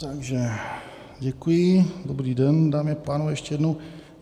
Takže děkuji, dobrý den, dámy a pánové, ještě jednou.